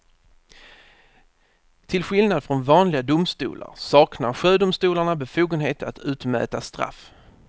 Till skillnad från vanliga domstolar saknar sjödomstolarna befogenhet att utmäta straff.